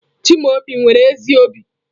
Chimaobi nwere ezi obi.